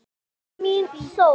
Þú ert mín sól.